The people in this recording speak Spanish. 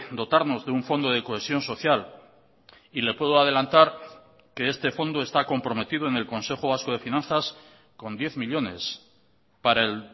dotarnos de un fondo de cohesión social y le puedo adelantar que este fondo está comprometido en el consejo vasco de finanzas con diez millónes para el